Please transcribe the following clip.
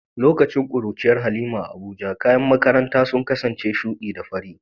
Lokacin kuruciyar Halima a Abuja, kayan makaranta sun kasance shudi da fari.